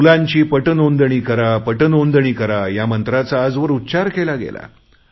मुलांची पट नोंदणी करा पट नोंदणी करा ह्या मंत्राचा आजवर उच्चार केला गेला